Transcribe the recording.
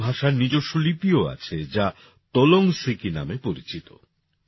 কুড়ুখ ভাষার নিজস্ব লিপিও আছে যা তোলং সিকি নামে পরিচিত